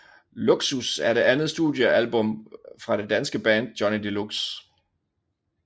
LUXUS er det andet studiealbum fra det danske band Johnny Deluxe